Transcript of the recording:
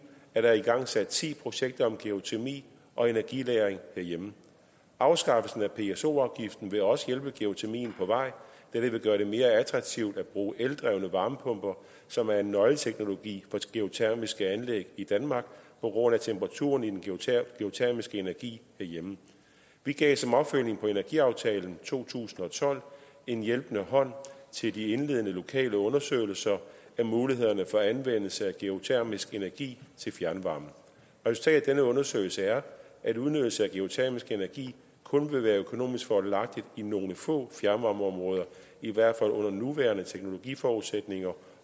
er der igangsat ti projekter om geotermi og energilagring herhjemme afskaffelsen af pso afgiften vil også hjælpe geotermien på vej da det vil gøre det mere attraktivt at bruge eldrevne varmepumper som er en nøgleteknologi for geotermiske anlæg i danmark på grund af temperaturen i den geotermiske energi herhjemme vi gav som opfølgning på energiaftalen i to tusind og tolv en hjælpende hånd til de indledende lokale undersøgelser af mulighederne for anvendelse af geotermisk energi til fjernvarme resultatet af denne undersøgelse er at udnyttelse af geotermisk energi kun vil være økonomisk fordelagtigt i nogle få fjernvarmeområder i hvert fald under de nuværende teknologiforudsætninger